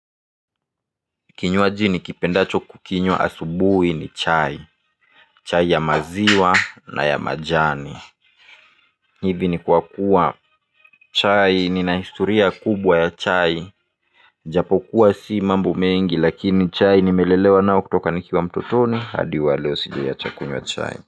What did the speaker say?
Kinywaji nikipendacho kukinywa asubui ni chai. Chai ya maziwa na ya majani. Hivi ni kwa kuwa chai nina historia kubwa ya chai. Japo kuwa si mambo mengi lakini chai nimelelewa nao kutoka nikiwa mtotoni hadi wa leo sijai acha kunywa chai.